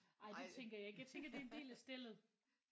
Ej det tænker jeg ikke jeg tænker det er en del af stellet